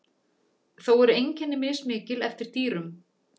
Þó eru einkenni mismikil eftir dýrum.